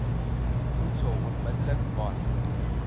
voedsel onmidddelik want